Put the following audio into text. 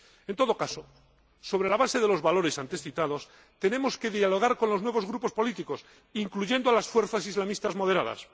En todo caso, sobre la base de los valores antes citados, tenemos que dialogar con los nuevos grupos políticos, incluyendo a las fuerzas islamistas moderadas